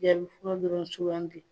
yaali fura dɔrɔn sugandi